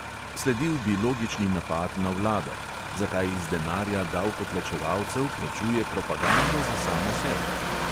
Sledil bi logični napad na vlado: zakaj iz denarja davkoplačevalcev plačuje propagando za samo sebe?